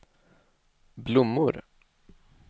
blommor